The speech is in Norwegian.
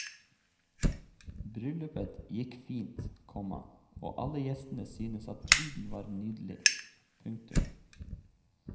Bryllupet gikk fint, komma og alle gjestene syntes at bruden var nydelig. punktum